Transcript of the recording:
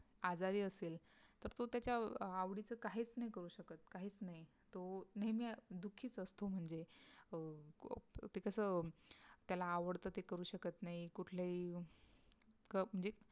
आजारी असेल तर तो त्याच्या आवडीचं काहीच नाही करू शकत काहीच नाही तो नेहमी दुःखीच असतो म्हणजे ते कस त्याला आवडत ते करू शकत नाही कुठलेही म्हणजे